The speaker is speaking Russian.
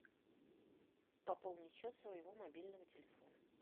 пополнить счет своего мобильного телефона